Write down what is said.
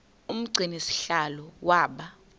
umgcini sihlalo waba